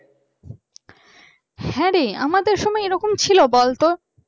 হ্যাঁরে আমাদের সময় এরকম ছিল বলতো